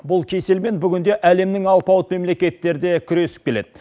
бұл кеселмен бүгінде әлемнің алпауыт мемлекеттері де күресіп келеді